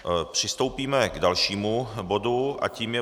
Přistoupíme k dalšímu bodu a tím je